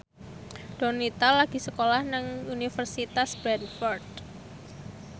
Donita lagi sekolah nang Universitas Bradford